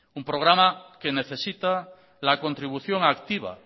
un programa que necesita la contribución activa